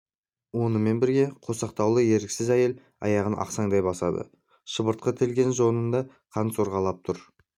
онымен бірге қосақтаулы еріксіз әйел аяғын ақсаңдай басады шыбыртқы тілген жонынан қан сорғалап тұр